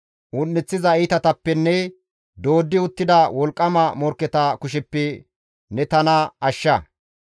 Un7eththiza iitatappenne dooddi uttida wolqqama morkketa kusheppe ne tana ashsha.